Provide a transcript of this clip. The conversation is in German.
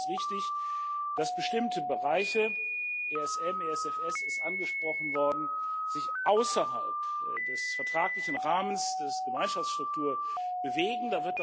Natürlich ist es richtig, dass bestimmte Bereiche ESM, ESFS sind angesprochen worden sich außerhalb des vertraglichen Rahmens der Gemeinschaftsstruktur bewegen